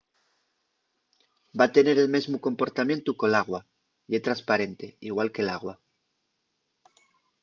va tener el mesmu comportamientu que l’agua. ye tresparente igual que l’agua